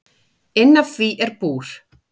Inn af því er búr.